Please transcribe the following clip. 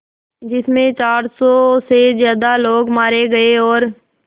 जिस में चार सौ से ज़्यादा लोग मारे गए और